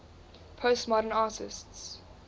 postmodern artists